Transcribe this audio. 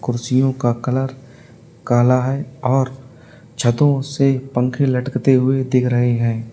कुर्सियों का कलर काला है और छतों से पंखे लटकते हुए दिख रहे हैं।